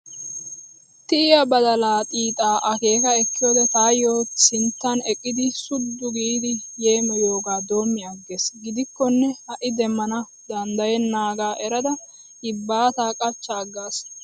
Tiya badalaa xiixaa akeeka ekkiyoode taayyo sinttan eqqidi suddu giidi yeemiyoogaa doomi aggiis. Gidikkonne ha'i demmana danddayennaagaa erada yibbaataa qachcha aggaas